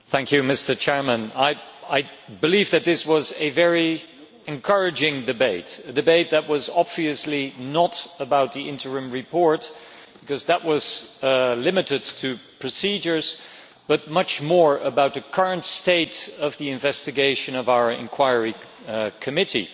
Mr President, I believe that this was a very encouraging debate, a debate that was obviously not about the interim report, because that was limited to procedures, but much more about the current state of the investigation of our inquiry committee.